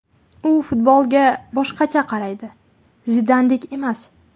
U futbolga boshqacha qaraydi, Zidandek emas.